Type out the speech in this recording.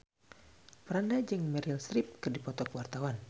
Franda jeung Meryl Streep keur dipoto ku wartawan